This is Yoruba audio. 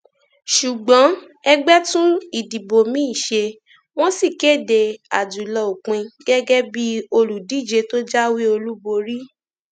ṣùgbọn ẹgbẹ tún ìdìbò miín ṣe wọn sì kéde ajùlọòpin gẹgẹ bíi olùdíje tó jáwé olúborí